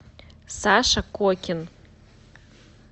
саша кокин